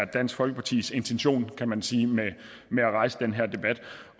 dansk folkepartis intention kan man sige med at rejse den her debat